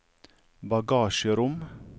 bagasjerom